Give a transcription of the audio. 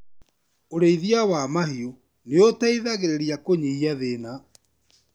Urĩithia wa mahiũ nĩ ũteithagĩrĩria kũnyihia thĩna.